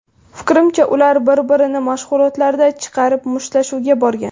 Fikrimcha, ular bir-birini mashg‘ulotlardan chiqarib, mushtlashuvga borgan”.